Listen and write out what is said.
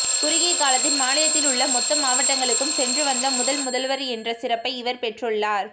குறுகிய காலத்தின் மாநிலத்தில் உள்ள மொத்த மாவட்டங்களுக்கும் சென்று வந்த முதல் முதல்வர் என்ற சிறப்பை இவர் பெற்றுள்ளார்